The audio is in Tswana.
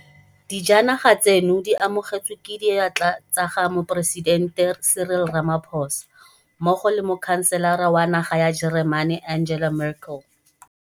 Dijanaga tseno di amogetswe ke diatla tsa ga Moporesitente Cyril Ramaphosa mmogo le Mokhanselara wa naga ya Jeremane Angela Merkel.